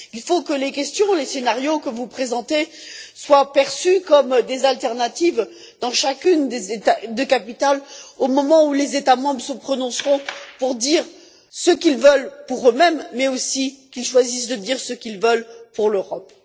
Il faut que les questions et les scénarios que vous présentez soient perçus comme des alternatives dans chacune des capitales au moment où les États membres se prononceront pour dire ce qu'ils veulent pour eux mêmes, mais aussi où ils choisissent de dire ce qu'ils veulent pour l'Europe.